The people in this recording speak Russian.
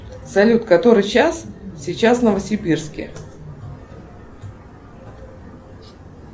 салют который час сейчас в новосибирске